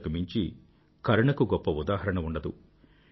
ఇంతకు మించి కరుణకు గొప్ప ఉదాహరణ ఉండదు